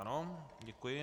Ano, děkuji.